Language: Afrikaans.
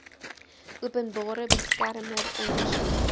openbare beskermer ondersoek